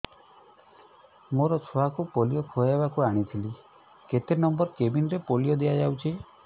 ମୋର ଛୁଆକୁ ପୋଲିଓ ଖୁଆଇବାକୁ ଆଣିଥିଲି କେତେ ନମ୍ବର କେବିନ ରେ ପୋଲିଓ ଦିଆଯାଉଛି